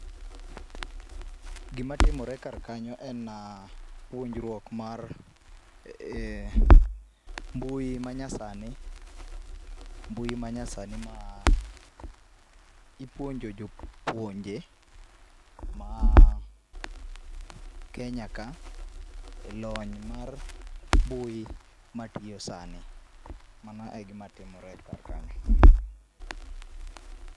Gima timore kar kanyo en puonjruok mar mbui manyasani ,mbui manyasani ma ipuonjo jopuonje ma Kenya ka e lony mar mbui matiyo sani. Mano e gima timore kar ka